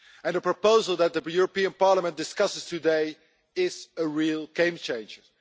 The proposal that the European Parliament discusses today is a real game changer.